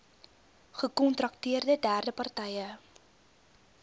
gekontrakteerde derde partye